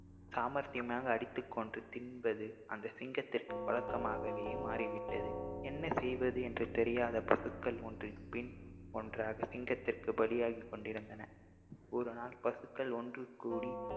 சாமர்த்தியமாக அடித்துக் கொன்று தின்பது அந்த சிங்கத்திற்கு பழக்கமாகவே மாறிவிட்டது என்ன செய்வது என்று தெரியாத பசுக்கள் ஒன்றன்பின் ஒன்றாக சிங்கத்திற்கு பலியாகிக் கொண்டிருந்தன ஒருநாள் பசுக்கள் ஒன்றுகூடி